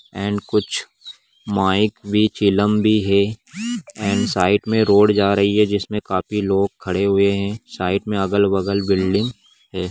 And कुछ mike भी चिलम भी है एण्ड साइड मे रोड जा रही है जिसमे काफी लोग खड़े हुए हैं | साइड मे अगल-बगल बिल्डिंग है।